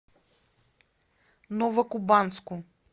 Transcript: новокубанску